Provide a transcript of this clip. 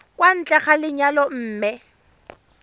kwa ntle ga lenyalo mme